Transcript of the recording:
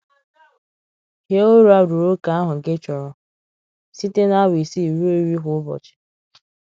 Hie ụra ruo ókè ahụ gị chọrọ — site na awa isii ruo iri kwa ụbọchị.